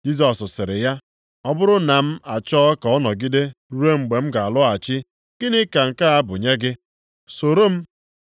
Jisọs sịrị ya, “Ọ bụrụ na m achọọ ka ọ nọgide ruo mgbe m ga-alọghachi gịnị ka nke a bụ nye gị? Soro m.”